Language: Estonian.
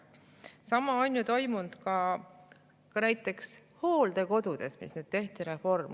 Sama on ju toimunud ka näiteks hooldekodudes, kus nüüd tehti reform.